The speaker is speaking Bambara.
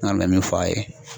Ne kɔni bɛ min fɔ a ye